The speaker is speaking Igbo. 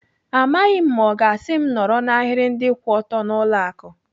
Amaghị m ma ọ ga-asị m nọrọ n'ahiri ndị kwụ ọtọ n'ụlọ akụ.